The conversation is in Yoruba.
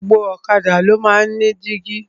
Gbogbo ọ̀kadà ni o máa ń ní dígí.